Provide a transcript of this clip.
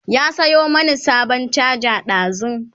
ya Sayo mani sabon charger ɗazun